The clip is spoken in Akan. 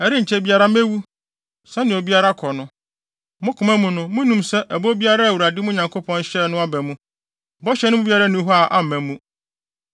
“Ɛrenkyɛ biara mewu, sɛnea obiara kɔ no. Mo koma mu no munim sɛ ɛbɔ biara a Awurade, mo Nyankopɔn hyɛɛ no aba mu. Bɔhyɛ no mu biara nni hɔ a amma mu!